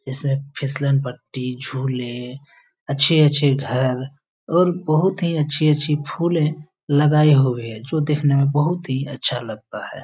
इस ने फिशलन पट्टी झूले अच्छे अच्छे घर और बहुत ही अच्छे अच्छे फुले लगाये हुये है जो दिखने में बहुत ही अच्छा लगता है ।